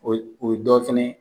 O ye o ye dɔw fɛnɛ